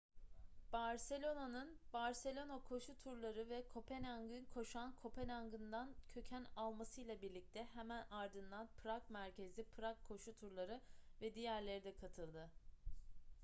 barcelona'nın barcelona koşu turları ve kopenhag'ın koşan kopenhag'ından köken almasıyla birlikte hemen ardından prag merkezli prag koşu turları ve diğerleri de katıldı